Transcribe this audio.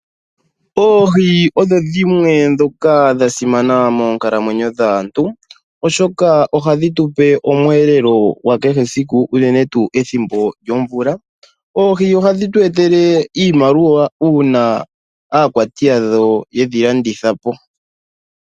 Oohi odho dhimwe ndhoka dha simana moonkalamwenyo dhaantu, oshoka ohadhi tupe omweelelo gwakehe esiku unene pethimbo lyomvula. Oohi ohadhi tu etele iimaliwa uuna aakwati yadho ye dhi landitha po.